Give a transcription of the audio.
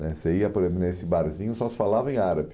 Né Você ia por exemplo nesse barzinho e só se falava em árabe.